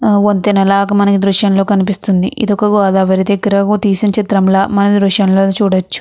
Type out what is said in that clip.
వంతెన లాగా మనకి దృష్యం లో కనిపిస్తుంది ఇది ఒక గోదావరి దగ్గర తీసిన చిత్రం ల మన దృష్యం లో చూడవచ్చు.